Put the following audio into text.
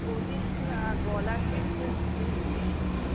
বলিস না, গলা নিয়ে খুব ভুগছি।